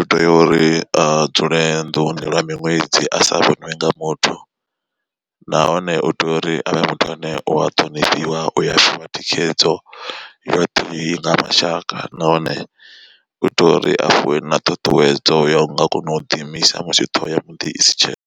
utea uri a dzule nḓuni lwa miṅwedzi a sa vhoniwi nga muthu, nahone u tea uri avhe muthu ane u a ṱhonifhiwa uya fhiwa thikhedzo yoṱhe nga mashaka nahone u itela uri a fhiwe na ṱhuṱhuwedzo ya u nga kona u ḓi imisa musi ṱhoho ya muḓi isi tsheho.